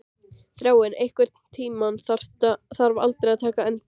Þráinn, einhvern tímann þarf allt að taka enda.